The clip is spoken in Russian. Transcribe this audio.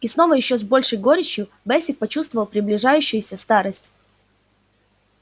и снова ещё с большей горечью бэсик почувствовал приближающуюся старость